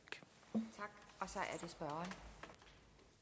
er rart